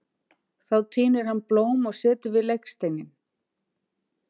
Þá tínir hann blóm og setur við legsteininn.